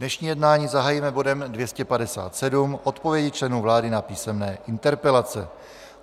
Dnešní jednání zahájíme bodem 257 - Odpovědi členů vlády na písemné interpelace.